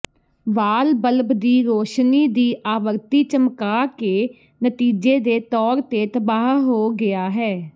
ਵਾਲ bulb ਦੀ ਰੌਸ਼ਨੀ ਦੀ ਆਵਰਤੀ ਚਮਕਾ ਦੇ ਨਤੀਜੇ ਦੇ ਤੌਰ ਤਬਾਹ ਹੋ ਗਿਆ ਹੈ